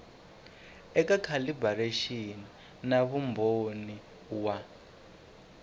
eka calibiraxini na vumbhoni wa